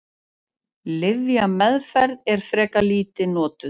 Lyfjameðferð er frekar lítið notuð.